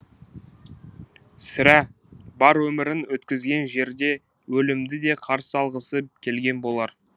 сірә бар өмірін өткізген жерде өлімді де қарсы алғысы келген болар